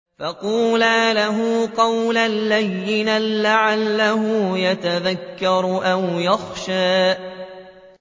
فَقُولَا لَهُ قَوْلًا لَّيِّنًا لَّعَلَّهُ يَتَذَكَّرُ أَوْ يَخْشَىٰ